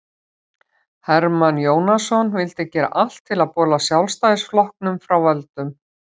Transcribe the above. hermann jónasson vildi gera allt til að bola sjálfstæðisflokknum frá völdum